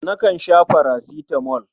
Nakan sha farasitamol.